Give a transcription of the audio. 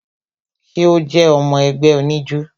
Ṣé o jé ọmọ ẹgbẹ́ oníjó?